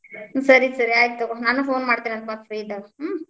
ಸರಿ ಸರಿ ಆಯಿತ್ ತಗೋ ನಾನ್ phone ಮಾಡ್ತಿನಂತ್ ಮತ್ free ಇದ್ದಾಗ, ಹ್.